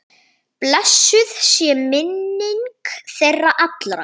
Blessuð sé minning þeirra allra.